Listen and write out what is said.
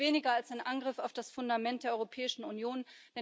Es ist nichts weniger als ein Angriff auf das Fundament der Europäischen Union.